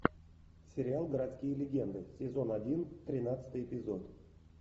сериал городские легенды сезон один тринадцатый эпизод